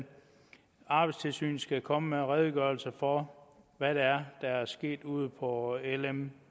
arbejdstilsynet skal komme med en redegørelse for hvad det er der er sket ude på lm